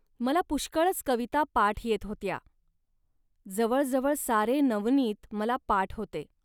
मला पुष्कळच कविता पाठ येत होत्या. जवळजवळ सारे नवनीत मला पाठ होते